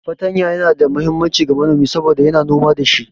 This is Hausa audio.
Fartanya Yana da muhimmanci ga manomi saboda yana noma da shi.